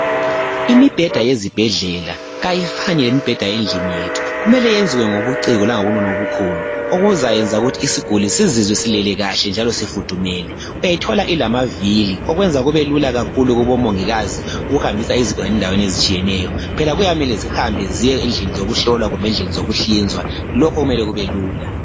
Imibheda yezibhedlela kayifani lemibheda yezindlini zethu, kumele iyenziwe ngobuciko langobunono obukhulu okuzayenza ukuthi isiguli sizizwe silele kahle njalo sifudumele. Uyathola ilamavili okwenza kubelula kakhulu kubomongikazi ukuhambisa izigulane endaweni ezitshiyeneyo, phela kuyamele zihambe ziye endlini zokuhlolwa kumbe endlini zokuhlinzwa, lokhu kumele kubelula.